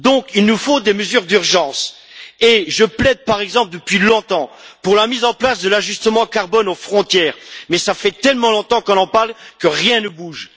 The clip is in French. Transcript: Il nous faut donc des mesures d'urgence, et je plaide par exemple depuis longtemps pour la mise en place de l'ajustement carbone aux frontières, mais cela fait tellement longtemps qu'on en parle et que rien ne bouge.